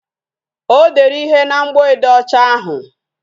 O dere ihe na mgboede ọcha ahụ